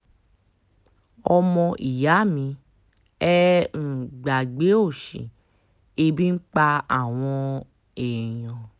ọmọ ìyá mi ẹ́ um gbàgbé òsì ebi ń pa àwọn um èèyàn